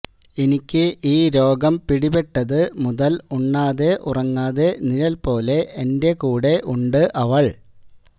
എനിക്ക് ഈ രോഗം പിടിപെട്ടത് മുതല് ഉണ്ണാതെ ഉറങ്ങാതെ നിഴല് പോലെ എന്റെ കൂടെ ഉണ്ട് അവള്